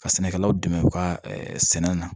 Ka sɛnɛkɛlaw dɛmɛ u ka sɛnɛ na